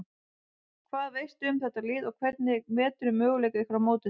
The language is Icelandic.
Hvað veistu um þetta lið og hvernig meturðu möguleika ykkar á móti þeim?